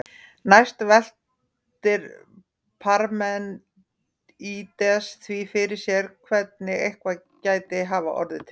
Næst veltir Parmenídes því fyrir sér hvernig eitthvað gæti hafa orðið til.